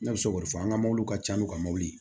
Ne bɛ se k'o fɔ an ka mɔbilimɔbiliw